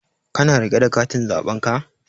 Ka na riƙe da katin zaɓen ka?